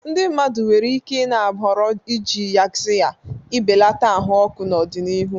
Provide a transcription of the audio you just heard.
Ndị mmadụ nwere ike i-na ahọrọ iji Yaxiya ị belata ahụ ọkụ n'ọdịnihu.